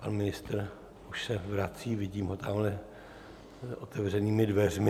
pan ministr už se vrací, vidím ho tamhle otevřenými dveřmi.